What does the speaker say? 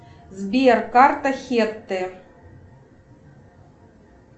сбер карта хетте